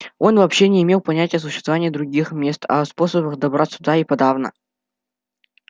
он вообще не имел понятия о существовании других мест а о способах добраться туда и подавно